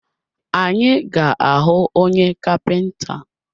Anyị ga ahụ onye kapinta?